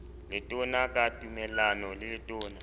letona ka tumellano le letona